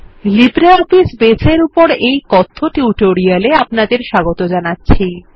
LibreOffice Base এর উপর এই কথ্য টিউটোরিয়ালে আপনাদের স্বাগত জানাচ্ছি